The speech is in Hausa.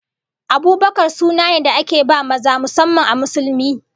Abubakar suna ne da ake ba maza musamman a Musulmi